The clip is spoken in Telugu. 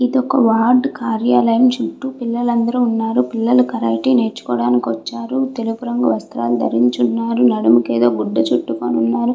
ఇది ఒక్క వార్డ్ కార్యాలయం చుట్టూ పిల్లలందరూ ఉన్నారు పిల్లలు కరాటే నేర్చుకోవడానికి వచ్చారు. తెలుపు వస్త్రాలు ధరించి ఉన్నారు నడుముకి ఏదో గూడ చుట్టుకొని ఉన్నారు.